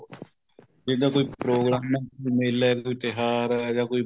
ਜਿੱਦਾਂ ਕੋਈ ਪ੍ਰੋਗਰਾਮ ਹੈ ਮੇਲਾ ਹੈ ਕੋਈ ਤਿਉਹਾਰ ਹੈ ਜਾਂ ਕੋਈ